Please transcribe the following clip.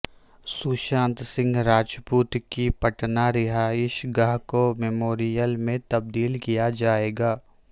سوشانت سنگھ راجپوت کی پٹنہ رہائش گاہ کو میموریل میں تبدیل کیا جائے گا